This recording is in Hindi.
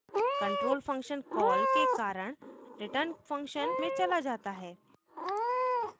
control function कॉल के कारण return _ function में चला जाता है